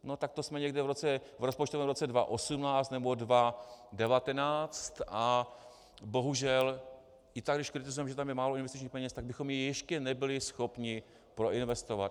No tak to jsme někde v rozpočtovém roce 2018 nebo 2019 a bohužel i tak, když kritizujeme, že je tam málo investičních peněz, tak bychom je ještě nebyli schopni proinvestovat.